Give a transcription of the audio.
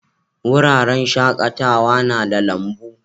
Wuraren shakatawa na da lambu.